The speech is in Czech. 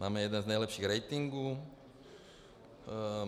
Máme jeden z nejlepších ratingů.